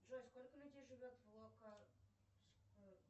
джой сколько людей живет в